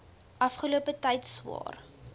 afgelope tyd swaar